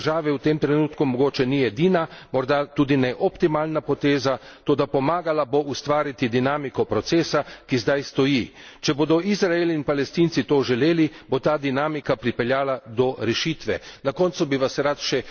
Priznanje palestinske države v tem trenutku mogoče ni edina, morda tudi ne optimalna poteza, toda pomagala bo ustvariti dinamiko procesa, ki zdaj stoji. Če bodo Izrael in Palestinci to želeli, bo ta dinamika pripeljala do rešitve.